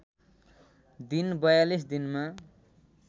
दिन ४२ दिनमा